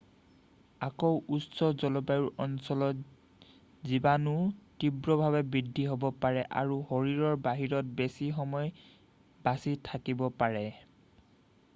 আকৌ উষ্ণ জলবায়ুৰ অঞ্চলত জীৱণু তীব্ৰভাৱে বৃদ্ধি হ'ব পাৰে আৰু শৰীৰৰ বাহিৰত বেছি সময় বাছি থাকিব পাৰে